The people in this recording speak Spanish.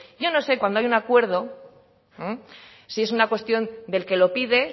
yo no sé cuándo hay un acuerdo si es una cuestión del que lo pide